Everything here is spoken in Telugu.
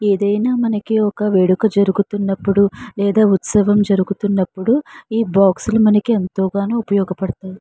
ఏదైనా మనకి వేడుక జరుగుతున్నప్పుడు లేదా ఉత్సవం జరుగుతున్నప్పుడు ఈ బాక్స్ లు మనకు ఎంతోగానో ఉపయోగపడతాయి.